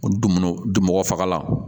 Du minnu dun mɔgɔ fagala